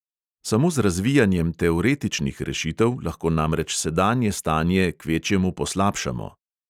Samo z razvijanjem teoretičnih rešitev lahko namreč sedanje stanje kvečjemu poslabšamo.